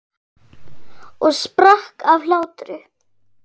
Og sprakk af hlátri.